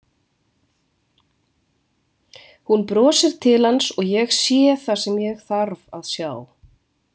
Hún brosir til hans og ég sé það sem ég þarf að sjá.